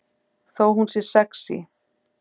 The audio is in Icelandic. Þó hún sé sexí.